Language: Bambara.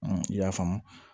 i y'a faamu